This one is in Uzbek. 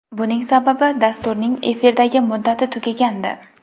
Buning sababi dasturning efirdagi muddati tugagandi.